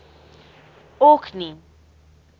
orkney